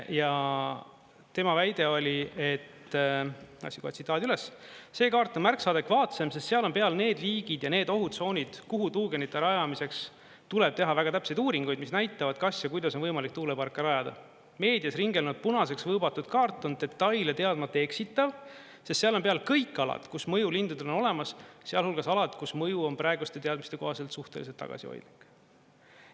Ja tema väide oli, et, otsin kohe tsitaadi üles: see kaart on märksa adekvaatsem, sest seal on peal need liigid ja need ohutsoonid, kuhu tuugenite rajamiseks tuleb teha väga täpseid uuringuid, mis näitavad, kas ja kuidas on võimalik tuuleparke rajada, meedias ringelnud punaseks võõbatud kaart on detaile teadmata eksitav, sest seal on peal kõik alad, kus mõju lindudele on olemas, sealhulgas alad, kus mõju on praeguste teadmiste kohaselt suhteliselt tagasihoidlik.